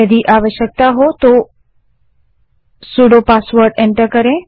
यदि आवश्कता हो तो सुडो पासवर्ड को एंटर करें